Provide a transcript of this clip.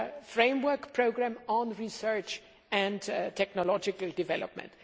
Framework Programme on Research and Technological Development.